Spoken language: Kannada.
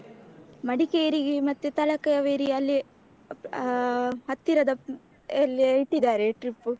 ಮಡಿಕೇರಿಗೆ ಮತ್ತೆ ತಲಕಾವೇರಿ ಅಲ್ಲಿ ಅ ಹತ್ತಿರದ ಎಲ್ಲಿಯಾ ಇಟ್ಟಿದ್ದಾರೆ trip.